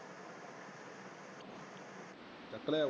ਚੱਕ ਲਿਆਇਆ ਓਏ